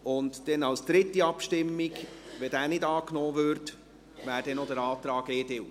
Die dritte Abstimmung, wenn dieser nicht angenommen würde, beträfe noch den Antrag EDU.